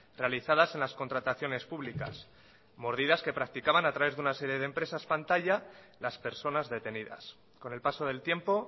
realizadas en las contrataciones públicas mordidas que practicaban a través de una serie de empresas pantalla las personas detenidas con el paso del tiempo